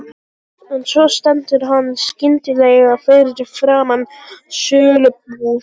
En svo stendur hann skyndilega fyrir framan sölubúð